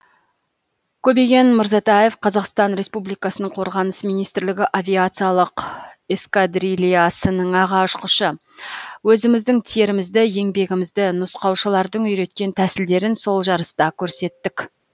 көбеген мырзатаев қазақстан республикасының қорғаныс министрлігі авиациялық эскадрильясының аға ұшқышы өзіміздің терімізді еңбегімізді нұсқаушылардың үйреткен тәсілдерін сол жарыста көрсеттік